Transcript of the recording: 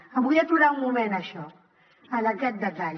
em vull aturar un moment en això en aquest detall